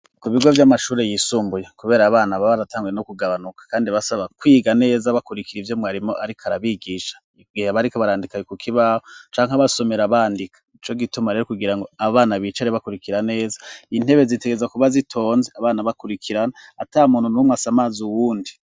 Ku bigo vy'amashuri yisumbuye kubera abana ba baratangwe no kugabanuka kandi basaba kwiga neza bakurikira ivyo mwarimo ariko arabigisha gihe bariko barandikaye ku kibaho canka basomera bandika ico gituma rero kugira ngo abana bicare bakurikira neza iyi ntebe zitegereza kuba zitonze abana bakurikirana atamuntu numwasa mazi uwundi.